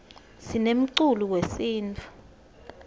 sinemculo wesintfu